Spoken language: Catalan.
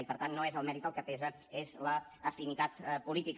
i per tant no és el mèrit el que pesa és l’afinitat política